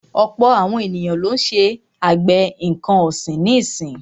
Ọ̀pọ̀ àwọn ènìyàn lọ́ ń ṣe àgbẹ̀ nǹkan ọ̀sìn nísì.